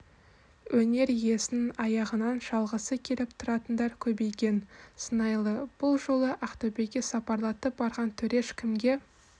өнер иесінің аяғынан шалғысы келіп тұратындар көбейген сыңайлы бұл жолы ақтөбеге сапарлатып барған төреш кімге